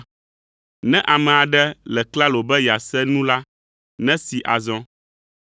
Ne ame aɖe le klalo be yease nu la, nesee azɔ!